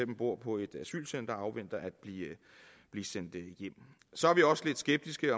bor på et asylcenter og afventer at blive sendt hjem så er vi også lidt skeptiske